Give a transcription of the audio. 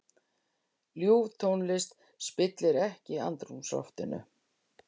Ljúf tónlist spillir ekki andrúmsloftinu.